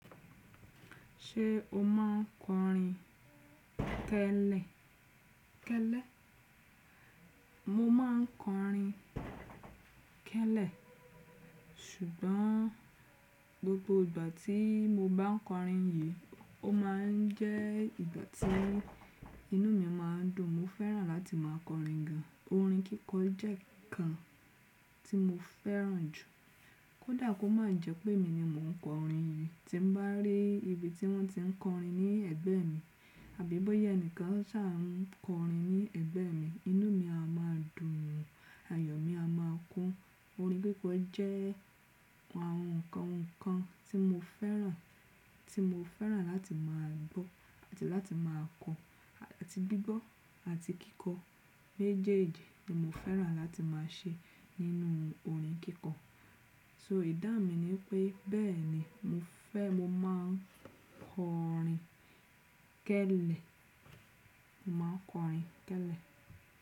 Ṣé o máa ń kọrin kẹ́lẹ́? Mo máa ń kọrin kẹ́lẹ̀, ṣùgbọ́n gbogbo ìgbà tí mo bá n kọrin yìí, ó máà ń jẹ́ ìgbà tí inú mi a má a dùn. Mo fẹ́ràn láti má a kọrin gan. Orin kíkọ jẹ́ kan tí mo fẹ́ràn jù. Kódà kó má a jẹ́ pé èmi ni mò ń kọrin yìí, tí mo bá rí ibi tí wọ́n ti ń kọrin ní ẹ̀gbẹ́ mi, àbí bóyá ẹni kan ṣà ń kọrin ní ẹ̀gbẹ́ mi, inú mi a má a dùn, ayọ̀ mi a má a kún. Orin kíkọ jẹ́ àwọn nǹkan nǹkan tí mo fẹ́ràn, tí mo fẹ́ràn láti má a gbọ́ àti láti má a kọ. Àti gbígbọ́ àti kíkọ. Méjèèjì ni mo fẹ́ràn láti má a ṣe nínú orin kíkọ. So ìdá mi ni pé bẹ́ẹ̀ni mo fẹ́, mo máa ń kọrin kẹ́lẹ̀. Mo máa ń kọrin kẹ́lẹ̀.